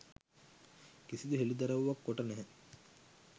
කිසිදු හෙළිදරව්වක් කොට නැහැ.